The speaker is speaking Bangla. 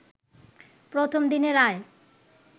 প্রথম দিনের আয়